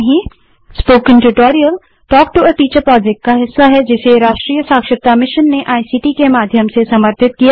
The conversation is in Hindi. spoken tutorial talk to a teacher project का हिस्सा है जिसे राष्ट्रीय साक्षरता मिशन ने इक्ट के माध्यम से समर्थित किया है